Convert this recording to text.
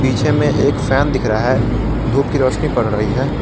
पीछे में एक फैन दिख रहा है धूप की रोशनी पड़ रही है।